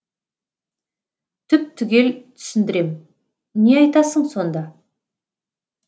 түп түгел түсіндірем не айтасың сонда